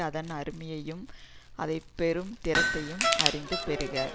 அதன் அருமையையும் அதை பெறும் திறத்தையும் அறிந்து பெறுக